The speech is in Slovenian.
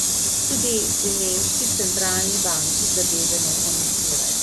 Tudi pri nemški centralni banki zadeve ne komentirajo.